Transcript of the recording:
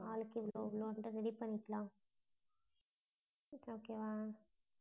நாளைக்கு போகணும்னா கூட ready பண்ணிக்கலாம okay வா?